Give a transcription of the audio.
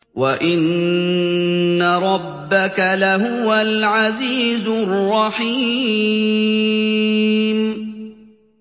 وَإِنَّ رَبَّكَ لَهُوَ الْعَزِيزُ الرَّحِيمُ